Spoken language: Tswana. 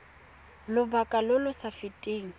lobaka lo lo sa feteng